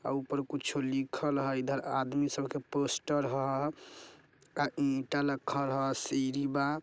ऊपर कुछ लिखल हई इधर आदमी सड़क पोस्ट ह का ईंटा रखल हा सीढ़ी बा ।